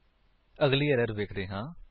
ਅਗਲੀ ਏਰਰ ਵੇਖਦੇ ਹਾਂ